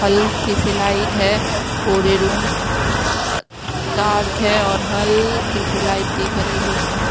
हल्की सी लाइट है पूरे रूम अह डार्क है और हल्की सी लाइट दिख रही है उसमें।